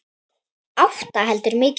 Átta heldur mikið.